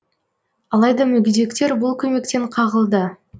алайда мүгедектер бұл көмектен қағылды